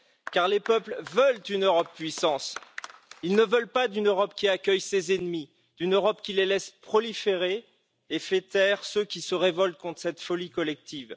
Car les peuples veulent une Europe puissance, ils ne veulent pas d'une Europe qui accueille ses ennemis, d'une Europe qui les laisse proliférer et fait taire ceux qui se révoltent contre cette folie collective.